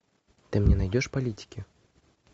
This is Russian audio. ты мне найдешь политики